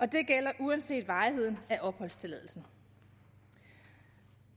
og det gælder uanset varigheden af opholdstilladelsen